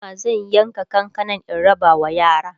anjima zan yanka kankanan in rabawa yara